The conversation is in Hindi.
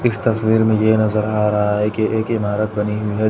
इस तस्वीर मे ये नजर आ रहा है की एक ईमारत बनी हुई है।